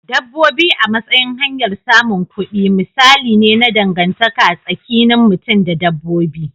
Dabbobi a matsayin hanyar samun kudi misali ne na dangantaka tsakinin mutum da dabbobi.